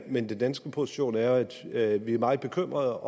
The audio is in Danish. men den danske position er at vi er meget bekymrede